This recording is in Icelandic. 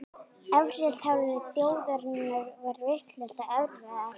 Efnahagsaðstæður þjóðarinnar eru vissulega erfiðar